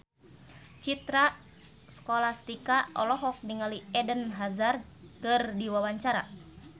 Citra Scholastika olohok ningali Eden Hazard keur diwawancara